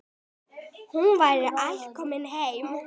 Hún væri alkomin heim.